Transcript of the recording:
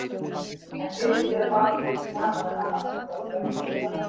En finnst séra Baldri ekki gaman að hafa allt þetta unga fólk á staðnum?